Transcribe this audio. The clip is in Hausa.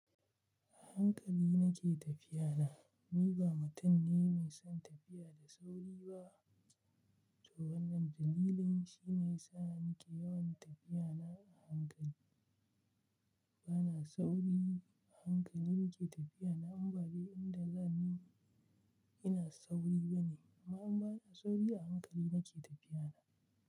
A hankali nake tafiya na. Ni ba mutum ne mai son tafiya da sauri ba, to wannan dalilin shine yasa nake yawan tafiya na a hankali. Bana sauri, a hankali nake tafiya na. Amma ba duk inda zani, ina sauri bane. Amma in bana sauri a hankali nake tafiya na.